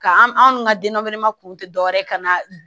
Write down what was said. Ka an anw ka denbayama kun tɛ dɔwɛrɛ ka na